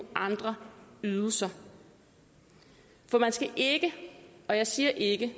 andre ydelser for man skal ikke og jeg siger ikke